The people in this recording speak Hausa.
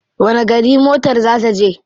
Wani gari motar ta za je?